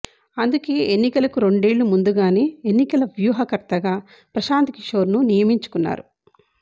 అందుకే ఎన్నికలకు రెండేళ్ల ముందుగానే ఎన్నికల వ్యూహకర్తగా ప్రశాంత్ కిషోర్ ను నియమించుకున్నారు